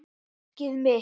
Elskið mitt!